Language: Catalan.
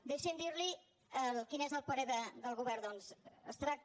deixi’m dir li quin és el parer del govern doncs es tracta